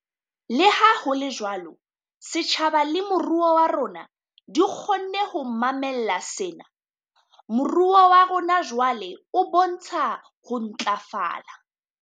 Leha ho le jwalo, setjhaba le moruo wa rona di kgonne ho mamella sena. Moruo wa rona jwale o bontsha ho ntlafala.